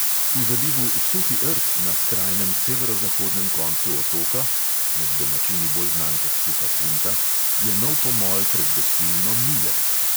V zalivu suhi rt na skrajnem severozahodnem koncu otoka (med domačini bolj znan kot suha punta) je nov pomol pred gostilno mile.